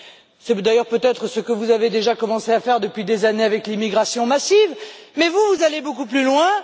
C'est d'ailleurs peut être ce que vous avez déjà commencé à faire depuis des années avec l'immigration massive, mais vous allez beaucoup plus loin.